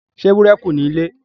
Ṣé ewúro kù nílé.